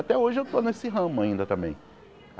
Até hoje eu estou nesse ramo ainda também.